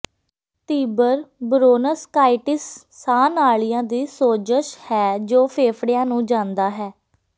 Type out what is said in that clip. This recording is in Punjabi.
ਤੀਬਰ ਬ੍ਰੌਨਕਾਈਟਿਸ ਸਾਹ ਨਾਲੀਆਂ ਦੀ ਸੋਜਸ਼ ਹੈ ਜੋ ਫੇਫੜਿਆਂ ਨੂੰ ਜਾਂਦਾ ਹੈ